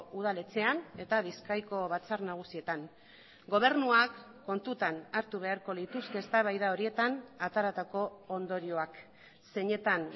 udaletxean eta bizkaiko batzar nagusietan gobernuak kontutan hartu beharko lituzke eztabaida horietan ateratako ondorioak zeinetan